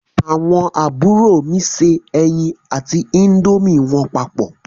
Àwọn àbúrò mi se ẹyin àti índómì wọn papọ̀.